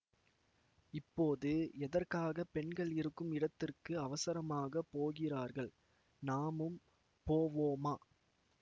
இப்போது எதற்காக பெண்கள் இருக்கும் இடத்திற்கு அவசரமாக போகிறார்கள் நாமும் போவோமா